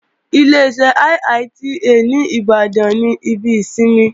Ileṣẹ́ IITA ní Ìbàdàn ní ibi ìsinmi